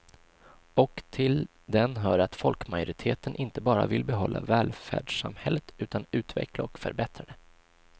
Och till den hör att folkmajoriteten inte bara vill behålla välfärdssamhället utan utveckla och förbättra det.